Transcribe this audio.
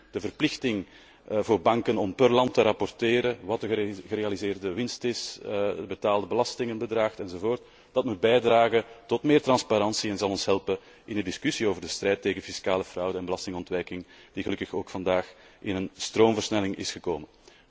En drie, de verplichting voor banken om per land te rapporteren wat de gerealiseerde winst is, het betaalde belastingbedrag, enzovoort, moet bijdragen tot meer transparantie en zal ons helpen in de discussie over de strijd tegen fiscale fraude en belastingontwijking, die gelukkig ook vandaag in een stroomversnelling is gekomen.